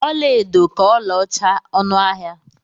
Ọlaedo ka ọlaọcha ọnụ ahịa.